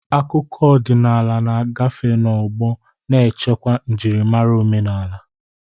Akụkọ ọdịnala na-agafe n'ọgbọ, na-echekwa njirimara omenala.